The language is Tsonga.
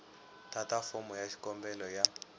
tata fomo ya xikombelo ya